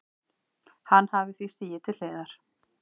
Hann hafi því stigið til hliðar